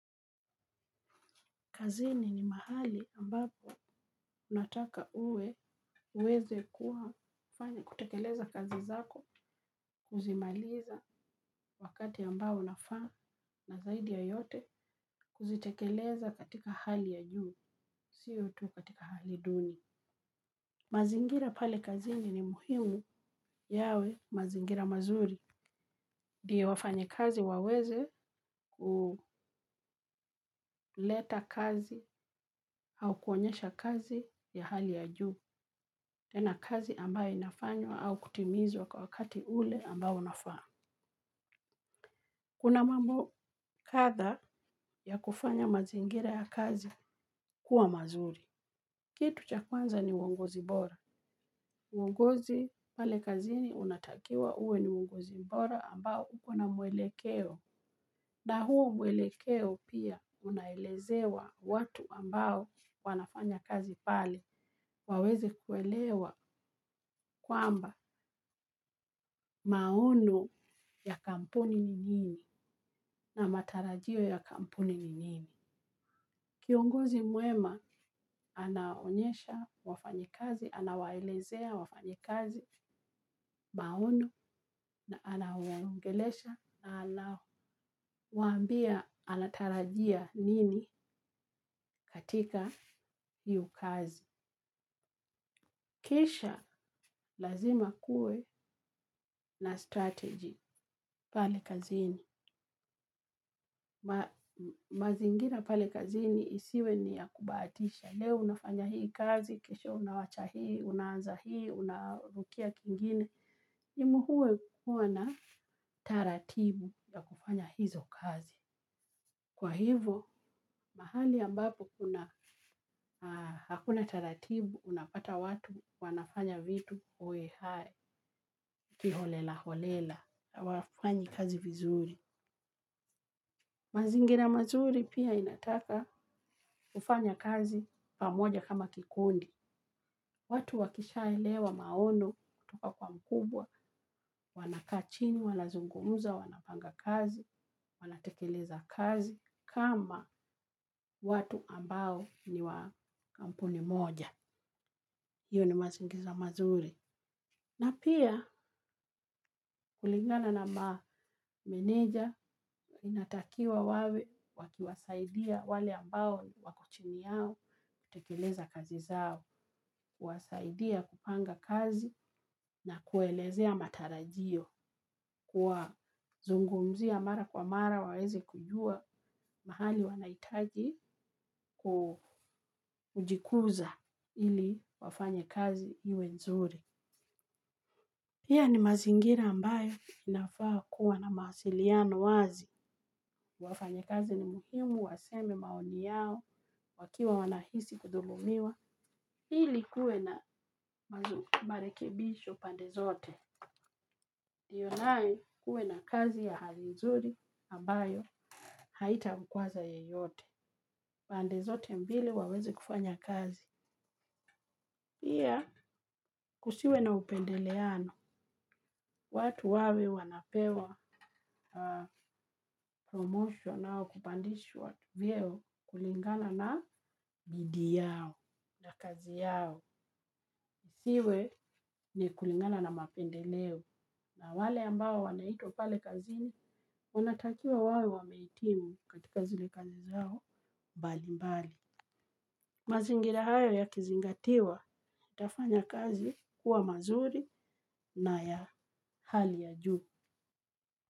Kazini ni mahali ambapo unataka uwe uweze kuwa, kufanya, kutekeleza kazi zako, kuzimaliza wakati ambao unafaa, na zaidi ya yote kuzitekeleza katika hali ya juu, siyo tu katika hali duni. Mazingira pale kazini ni muhimu yawe mazingira mazuri. Ndio wafanyikazi waweze kuleta kazi au kuonyesha kazi ya hali ya juu. Tena kazi ambayo inafanywa au kutimizwa kwa wakati ule ambao unafaa. Kuna mambo kadha ya kufanya mazingira ya kazi kuwa mazuri. Kitu cha kwanza ni uongozi bora. Uongozi pale kazini unatakiwa uwe ni uongozi bora ambao uko na mwelekeo. Na huo mwelekeo pia unaelezewa watu ambao wanafanya kazi pale waweze kuelewa kwamba maono ya kampuni ni nini, na matarajio ya kampuni ni nini. Kiongozi mwema, anaonyesha wafanyikazi, anawaelezea wafanyikazi maono, na anawaongelesha na anawaambia anatarajia nini katika hiyo kazi. Kisha lazima kuwe na strategy pale kazini. Mazingira pali kazini isiwe ni ya kubahatisha. Ya leo unafanya hii kazi, kesho unawacha hii, unaanza hii, unarukia kingine. Nimuhue kukuwa na taratibu ya kufanya hizo kazi. Kwa hivyo, mahali ambapo kuna, hakuna taratibu, unapata watu wanafanya vitu hohehahe, kiholela-holela, hawafanyi kazi vizuri. Mazingira mazuri pia inataka kufanya kazi pamoja kama kikundi. Watu wakishaelewa maono kutoka kwa mkubwa, wanakaa chini, wanazungumza wanapanga kazi, wanatekeleza kazi, kama watu ambao ni wa kampuni moja. Hiyo ni mazingiza mazuri. Na pia, kulingana na meneja inatakiwa wawe wakiwasaidia wale ambao wako chini yao kutekeleza kazi zao. Kuwasaidia kupanga kazi na kuelezea matarajio. Kuwazungumzia mara kwa mara waweze kujua mahali wanahitaji kujikuza ili wafanye kazi iwe nzuri. Pia ni mazingira ambayo inafaa kuwa na mawasiliano wazi. Wafanyikazi ni muhimu waseme maoni yao, wakiwa wanahisi kudhulumiwa. Ili kuwe na mazu, marekebisho pande zote. Ndiyo nayo kuwe na kazi ya hali nzuri, ambayo haitamkwaza yeyote. Pande zote mbili waweze kufanya kazi. Pia, kusiwe na upendeleano, watu wawe wanapewa promotion au kupandishwa vyeo kulingana na bidii yao na kazi yao. Kusiwe ni kulingana na mapendeleo na wale ambao wanaitwa pale kazini, wanatakiwa wawe wamehitimu katika zile kazi zao mbali mbali. Mazingira hayo yakizingatiwa, itafanya kazi kuwa mazuri na ya hali ya juu.